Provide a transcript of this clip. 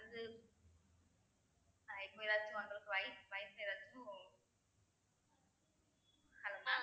hello mam